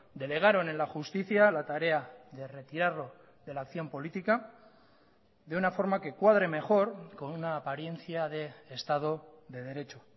delegaron en la justicia la tarea de retirarlo de la acción política de una forma que cuadre mejor con una apariencia de estado de derecho